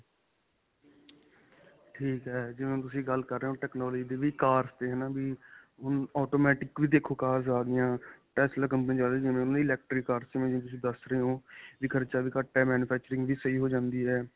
ਠੀਕ ਹੈ. ਜਿਵੇਂ ਤੁਸੀਂ ਗੱਲ ਕਰ ਰਹੇ ਹੋ technology ਦੀ ਵੀ cars 'ਤੇ ਹੈ ਨਾਂ ਵੀ ਹੁਣ automatic ਵੀ ਦੇਖੋ cars ਆ ਗਈਆਂ tesla company ਹੈ ਜਿਵੇਂ ਉਨ੍ਹਾਂ ਦੀਆਂ electric cars ਨੇ ਜਿਵੇਂ ਤੁਸੀਂ ਦੱਸ ਰਹੇ ਹੋ ਵੀ ਖਰਚਾ ਵੀ ਘੱਟ ਹੈ manufacturing ਵੀ ਸਹੀ ਹੋ ਜਾਂਦੀ ਹੈ.